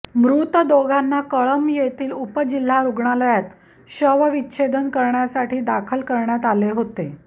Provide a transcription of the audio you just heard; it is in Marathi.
मृत दोघांना कळंब येथील उपजिल्हा रुग्णलयात शवविच्छेदन करण्यासाठी दाखल करण्यात आले होते